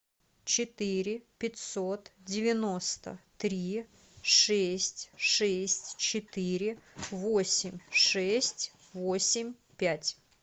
четыре пятьсот девяносто три шесть шесть четыре восемь шесть восемь пять